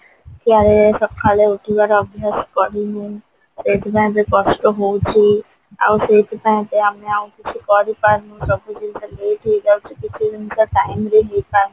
ଛୁଆବେଳେ ସକାଳେ ଉଠିବାର ଅଭ୍ୟାସ କରିନେ ସେଇଥିପାଇଁ ଏବେ କଷ୍ଟ ହଉଛି ଆଉ ସେଇଥିପାଇଁ ତ ଆମେ ଆଉ କିଛି କରିପାରୁନୁ ସବୁ ଜିନିଷ late ହେଇଯାଉଛି କିଛି ଜିନିଷ time ରେ ହେଇପାରୁନି